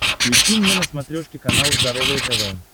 включи мне на смотрешке канал здоровое тв